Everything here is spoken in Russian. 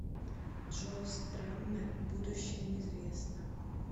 джо страммер будущее неизвестно